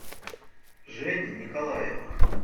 жени николаева